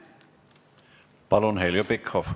Palun, Heljo Pikhof!